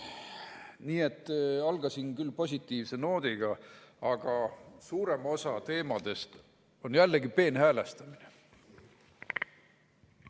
Nii et alustasin küll positiivse noodiga, aga suurem osa teemadest on jällegi peenhäälestamine.